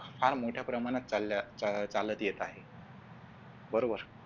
फार मोठ्या प्रमाणात चालत चालत येत आहे बरोबर